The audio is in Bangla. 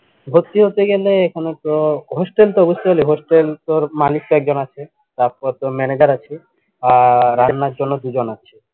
ভর্তি হতে গেলে এখানেতো hostel তো hostel তোর মালিক তো একজন আছে তারপর তোর manager আছে আহ রান্নার জন্য দুজন আছে